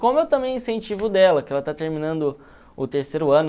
Como eu também incentivo o dela, que ela está terminando o terceiro ano.